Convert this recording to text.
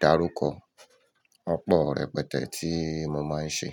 dárúkọ. Ọ̀pọ̀ rẹpẹtẹ tí mo máa ń ṣe.